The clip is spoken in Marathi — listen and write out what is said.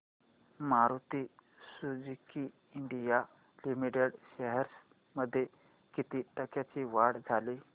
Maruti Suzuki India limited shares मध्ये किती टक्क्यांची वाढ झाली